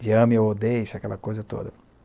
De ame ou odeixe, aquela coisa toda.